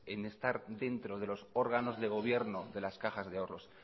en estar dentro de los órganos de gobierno de las cajas de ahorros